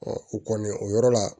o kɔni o yɔrɔ la